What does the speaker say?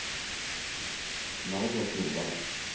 Margot Nordal